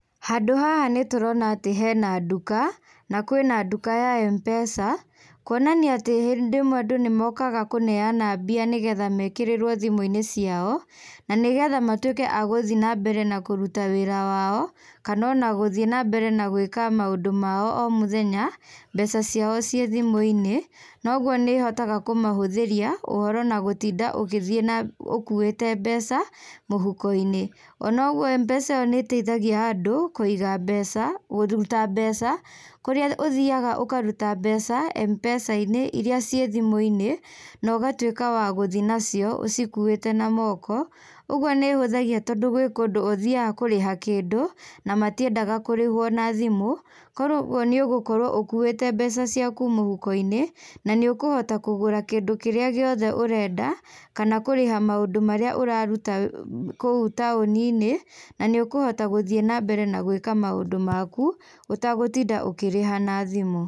Handũ haha nitũrona atĩ hena nduka nakwĩna nduka ya M-PESA kuonania atĩ hĩndĩ ĩmwe andũ nĩmokaga kũneana mbia nĩgetha mekĩrĩrwo thimũ-inĩ ciao, nanĩgetha matwĩke a gũthiĩ nambere na kũruta wĩra wao kana ona gũthiĩ nambere na gwĩka maũndũ mao omũthenya, mbeca ciao ciĩ thimũ-inĩ noguo nĩhotaga kũmahũthĩria ũhoro na gũtinda ũgĩthiĩ na ũkuĩte mbeca mũhuko-inĩ ona ũguo M-PESA ĩyo nĩteithagia andũ kũiga mbeca kũruta mbeca kũrĩa ũthiaga ũkaruta mbeca M-PESA-inĩ iria ciĩ thimũ-inĩ nogatwĩka wa gũthiĩ nacio ũcikuĩte na moko ũguo nĩhũthagia tondũ gwĩ kũndũ ũthiaga kũrĩha kĩndũ na matiendaga kũrĩhwo na thimũ korwo ũguo nĩgũkorwo ũkuĩte mbeca ciaku mũhuko-inĩ nanĩũkũhota kũgũra kĩndũ kĩrĩa gĩothe ũrenda kana kũrĩha maũndũ maría ũraruta wĩ uu kũu taũni-inĩ na nĩũkũhota gũthiĩ nambere na gwĩka maũndu maku ũtagũtinda ũkĩrĩha na thimũ.